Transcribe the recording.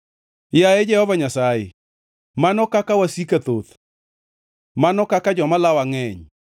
Yaye Jehova Nyasaye, mano kaka wasika thoth! Mano kaka joma lawa ngʼeny!